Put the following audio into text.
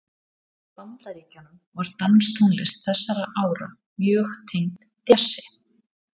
Í Bandaríkjunum var danstónlist þessara ára mjög tengd djassi.